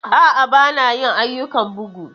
A'a, ba na yin ayyukan bugu.